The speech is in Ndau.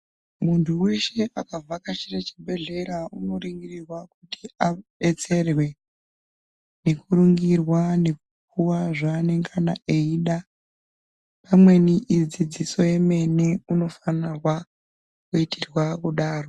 Muntu weshe akabvakachire chibhehlera unoringiringirirwa kuti adetserwe nekuringirwa nekupuwa zvaanengana eida. Amweni idzidziso yemene unofanirwa kuitirwa kudaro.